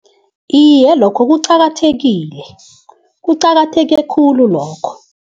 Iye, lokho kuqakathekile. Kuqakatheke khulu lokho.